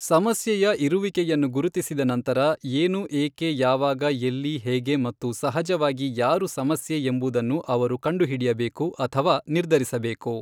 ಸಮಸ್ಯೆಯ ಇರುವಿಕೆಯನ್ನು ಗುರುತಿಸಿದ ನಂತರ ಏನು ಏಕೆ ಯಾವಾಗ ಎಲ್ಲಿ ಹೇಗೆ ಮತ್ತು ಸಹಜವಾಗಿ ಯಾರು ಸಮಸ್ಯೆ ಎಂಬುದನ್ನು ಅವರು ಕಂಡುಹಿಡಿಯಬೇಕು ಅಥವಾ ನಿರ್ಧರಿಸಬೇಕು.